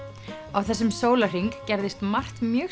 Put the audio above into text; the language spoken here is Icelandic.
á þessum sólarhring gerðist margt mjög